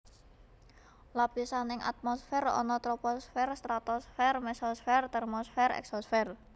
Lapisan nang atmosfer ana Troposfer Stratosfer Mesosfer Termosfer Eksosfer